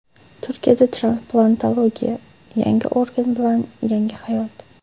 Turkiyada transplantologiya: Yangi organ bilan yangi hayot.